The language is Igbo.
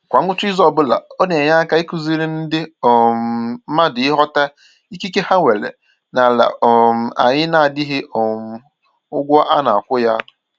Kwa ngwụcha izu ọbụla, ọ na-enye aka ịkụziri ndị um mmadụ ịghọta ikike ha nwere n'ala um anyị na-adịghị um ụgwọ a na-akwụ ya